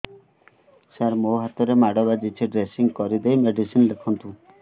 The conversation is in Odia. ସାର ମୋ ହାତରେ ମାଡ଼ ବାଜିଛି ଡ୍ରେସିଂ କରିଦେଇ ମେଡିସିନ ଲେଖନ୍ତୁ